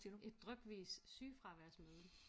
Et drypvis sygefraværsmøde